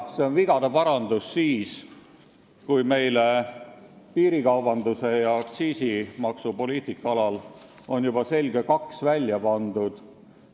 See on vigade parandus siis, kui meile piirikaubanduse ja aktsiisipoliitika eest on juba selge kaks välja pandud.